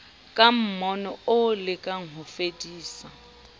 ka mmono o lekang hofedisa